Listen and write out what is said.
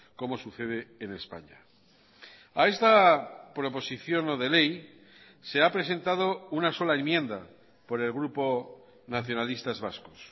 como sucede en españa a esta proposición no de ley se ha presentado una sola enmienda por el grupo nacionalistas vascos